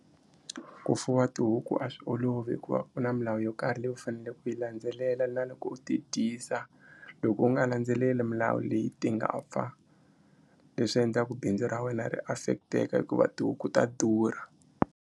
Ku fuwa tihuku a swi olovi hikuva ku na milawu yo karhi leyi u faneleke ku yi landzelela na loko u ti dyisa loko u nga landzeleli milawu leyi ti nga fa leswi endlaku bindzu ra wena ri affect-eka hikuva tihuku ta durha.